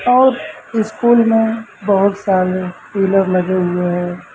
और स्कूल में बहोत सारे पिलर लगे हुए हैं।